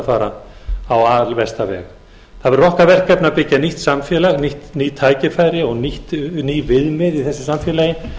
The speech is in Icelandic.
fara á alversta veg það er okkar verkefni að byggja nýtt samfélag ný tækifæri og ný viðmið í þessu samfélagi